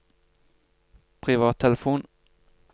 privattelefon